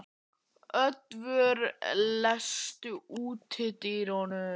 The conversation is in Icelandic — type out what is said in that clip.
Oddvör, læstu útidyrunum.